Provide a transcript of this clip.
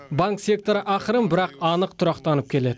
банк секторы ақырын бірақ анық тұрақтанып келеді